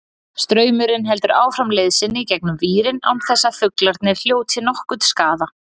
Straumurinn heldur áfram leið sinni gegnum vírinn án þess að fuglarnir hljóti nokkurn skaða.